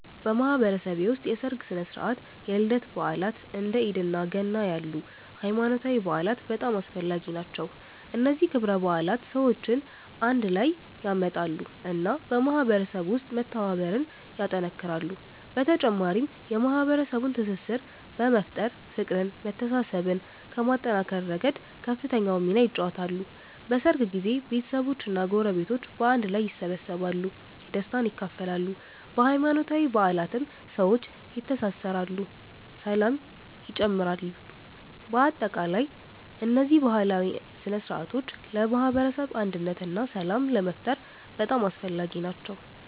በማህበረሰቤ ውስጥ የሠርግ ሥነ ሥርዓት፣ የልደት በዓላት፣ እንደ ኢድ እና ገና ያሉ ሃይማኖታዊ በዓላት በጣም አስፈላጊ ናቸው። እነዚህ ክብረ በዓላት ሰዎችን አንድ ላይ ያመጣሉ እና በማህበረሰቡ ውስጥ መተባበርን ያጠናክራሉ። በተጨማሪም የማህበረሰቡን ትስስር በመፍጠር፤ ፍቅርን መተሳሰብን ከማጠናከር ረገድ ከፍተኛውን ሚና ይጫወታሉ። በሠርግ ጊዜ ቤተሰቦች እና ጎረቤቶች በአንድ ላይ ይሰበሰባሉ፣ ደስታን ይካፈላሉ። በሃይማኖታዊ በዓላትም ሰዎች ይተሳሰራሉ ሰላም ይጨምራሉ። በአጠቃላይ እነዚህ ባህላዊ ሥነ ሥርዓቶች ለማህበረሰብ አንድነት እና ሰላም ለመፍጠር በጣም አስፈላጊ ናቸው።